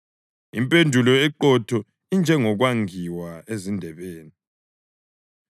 Impendulo eqotho injengokwangiwa ezindebeni.